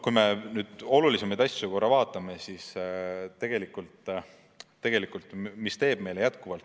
Kui me nüüd olulisemaid asju vaatame, siis mis meile jätkuvalt muret teeb?